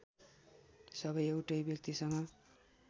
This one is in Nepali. सबै एउटै व्यक्तिसँग